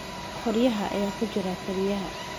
Qoryaha ayaa ku jira kariyaha.